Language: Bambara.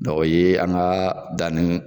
o ye an ka danni